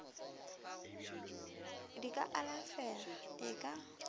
di ka alafega e ka